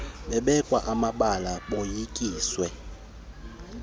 babekwa amabala boyikiswe